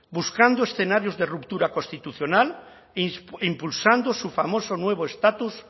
buscando escenarios de ruptura constitucional impulsando su famoso nuevo estatus